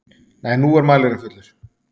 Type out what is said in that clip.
Nei, nú er mælirinn fullur.